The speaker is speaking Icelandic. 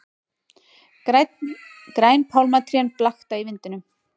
Græn pálmatrén blakta í vindinum.